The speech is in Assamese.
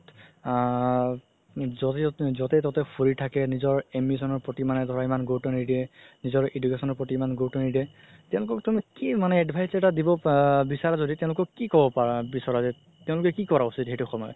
আ য'তে ত'তে ফুৰি থাকে নিজৰ ambition ৰ প্ৰতি ধৰা ইমান গুৰুত্ব নিদিয়ে নিজৰ education ৰ প্ৰতি ধৰা ইমান গুৰুত্ব নিদিয়ে তেওঁলোকক তুমি কি মানে advise এটা আ বিচাৰা যদি কি ক'ব পাৰা বিচৰা যে তেও লোকে কি কৰা উচিত সেইটো সময়ত